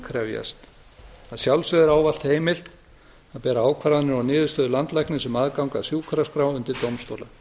krefjast að sjálfsögðu er ávallt heimilt að bera ákvarðanir og niðurstöður landlæknis um aðgang að sjúkraskrá undir dómstóla